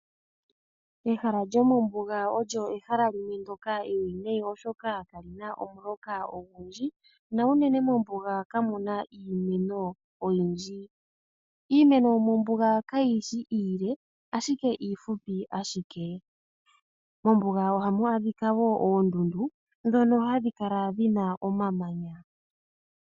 Ehala lyomombuga olyo ehala limwe ndyoka ewinayi ,oshoka kali na omuloka ogundji. Unene mombuga ka mu na iimeno oyindji. Iimeno yomombuga kayi shi iile ashike iifupi. Mombuga oha mu adhika woo oondundu ndhono hadhi kala dhi na omamanya.